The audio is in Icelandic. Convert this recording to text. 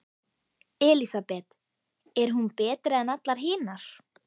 Elísabet: Er hún betri en allar hinar?